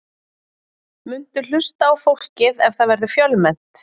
Muntu hlusta á fólkið ef það verður fjölmennt?